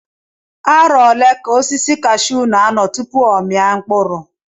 Arọ ole ka osisi kashuu n'anọ tupu ọ mia mkpụrụ?